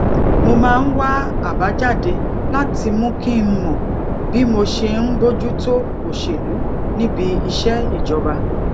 mo máa ń wá àbájáde láti mú kí n mọ bí mo ṣe ń bójú tó òṣèlú níbi iṣẹ ìjọba